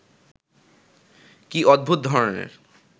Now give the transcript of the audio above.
কি অদ্ভুত ধরনের